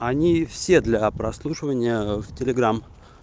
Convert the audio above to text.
они все для прослушивания в телеграм